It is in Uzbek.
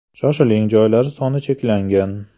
Shoshiling joylar soni cheklangan.